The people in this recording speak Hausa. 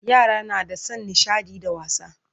Yara na da San nishaɗi da wasa